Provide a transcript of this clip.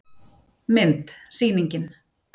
Mynd: Sýningin.